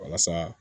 Walasa